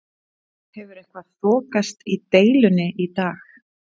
Hefur eitthvað þokast í deilunni í dag?